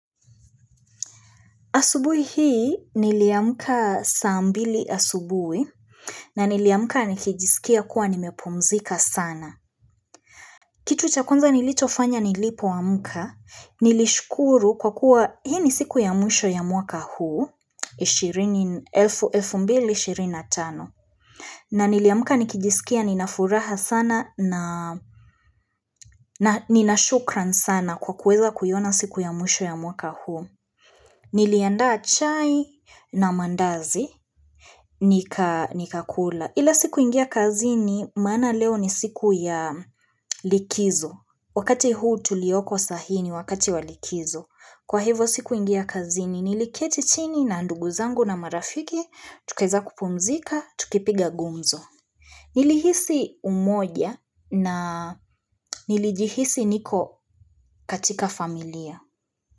Asubui hii niliamkaa saa mbili asubui na niliamkaa nikijisikia kuwa nimepumzika sana. Kitu cha kwanza nilichofanya nilipo amka nilishukuru kwa kuwa hii ni siku ya mwisho ya mwaka huu 2025. Na niliamkaa nikijisikia ninafuraha sana na nina shukran sana kwa kuweza kuiona siku ya mwisho ya mwaka huu. Niliandaa chai na mandazi, nika nikakula, ila sikuingia kazini, maana leo ni siku ya likizo, wakati huu tulioko sahi ni wakati walikizo, kwa hivo siku ingia kazini, niliketi chini na ndugu zangu na marafiki, tukiza kupumzika, tukipiga gumzo. Nilihisi umoja na nilijihisi niko katika familia.